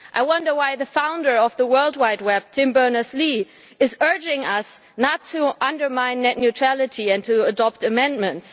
I wonder why the founder of the World Wide Web, Tim Berners Lee, is urging us not to undermine net neutrality and to adopt amendments.